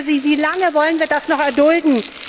Ich frage Sie Wie lange wollen wir das noch erdulden?